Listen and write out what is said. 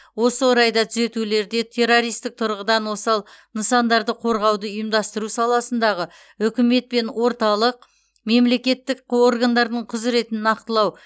осы орайда түзетулерде террористік тұрғыдан осал нысандарды қорғауды ұйымдастыру саласындағы үкімет пен орталық мемлекеттік органдардың құзыретін нақтылау